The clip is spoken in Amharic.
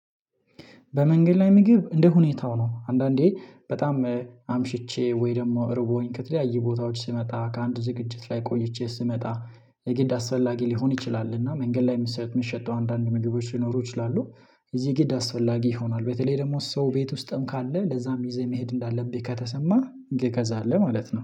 በመንገድ ላይ ምግብ እንደ ሁኔታው ነው። አንዳንዴ በጣም አምሽቼ ወይ ደግሞ እርቦኝ ከተለያዩ ቦታወች ስመጣ ከአንድ ዝግጅት ላይ ቆይቼ ስመጣ የግድ አስፈላጊ ሊሆን ይችላልና መንገድ ላይ የሚሸጠውን አንዳንድ ምግቦች ሊኖሩ ይችላሉ። እዚህ ግድ አስፈላጊ ይሆናል በተለይ ደግሞ ሰው ቤት ውስጥም ካለ ለዛም ይዘህ መሄድ እንዳለብህ ከተሰማህ እንግዲህ እገዛለሁ ማለት ነው